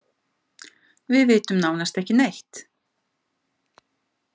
Við vitum nánast ekki neitt.